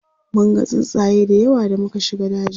munga tsuntsaye da yawa da muka shiga dajin